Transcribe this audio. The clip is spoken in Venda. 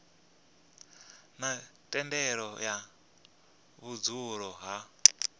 na thendelo ya vhudzulo ha